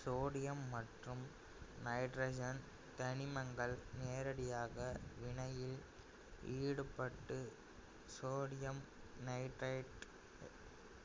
sodium மற்றும் nitrogen தனிமங்கள் நேரடியாக வினையில் ஈடுபட்டு சோடியம் நைட்ரைடை